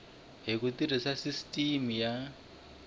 hi ku tirhisa sisiteme ya